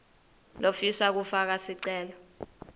lofisa kufaka sicelo